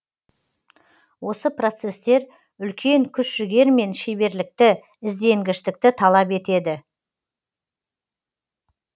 осы процестер үлкен күш жігер мен шеберлікті ізденгіштікті талап етеді